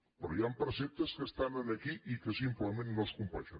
però hi han preceptes que estan aquí i que simplement no es compleixen